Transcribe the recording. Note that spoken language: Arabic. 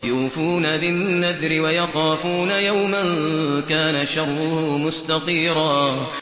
يُوفُونَ بِالنَّذْرِ وَيَخَافُونَ يَوْمًا كَانَ شَرُّهُ مُسْتَطِيرًا